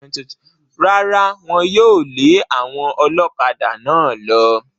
Rárá, Wọ́n yóò lé àwọn ọlọ́kadà náà lọ.